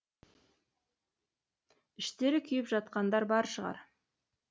іштері күйіп жатқандар бар шығар